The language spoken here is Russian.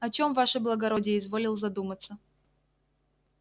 о чём ваше благородие изволил задуматься